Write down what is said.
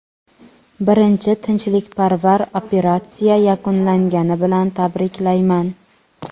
"Birinchi tinchlikparvar operatsiya yakunlangani bilan tabriklayman!".